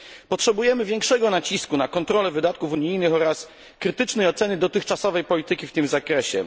Potrzebujemy większego nacisku na kontrolę wydatków unijnych oraz krytycznej oceny dotychczasowej polityki w tym zakresie.